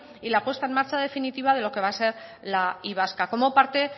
y la puesta en marcha definitiva de lo que va a ser la y vasca como parte